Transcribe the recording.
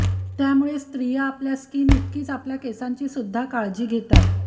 त्यामुळेच स्त्रिया आपल्या स्किन इतकीच आपल्या केसांची सुद्धा काळजी घेतात